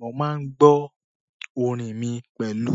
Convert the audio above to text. Mo máa ń gbọ́ orin mi pẹ̀lú